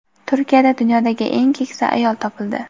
Turkiyada dunyodagi eng keksa ayol topildi.